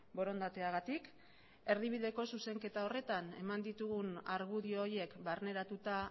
borondateagatik erdibideko zuzenketa horretan eman ditugun argudio horiek barneratuta